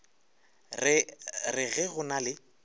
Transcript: re ge go na le